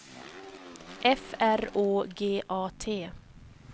F R Å G A T